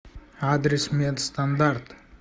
адрес медстандарт